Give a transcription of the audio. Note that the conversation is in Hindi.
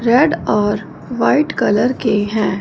रेड और व्हाइट कलर के हैं।